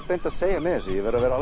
beint að segja með þessu ég verð að vera